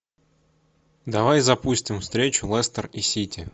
давай запустим встречу лестер и сити